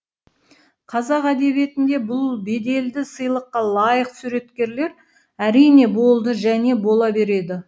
қазақ әдебиетінде бұл беделді сыйлыққа лайық суреткерлер әрине болды және бола береді